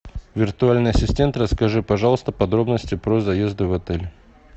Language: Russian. виртуальный ассистент расскажи пожалуйста подробности про заезды в отель